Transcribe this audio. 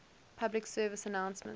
public service announcements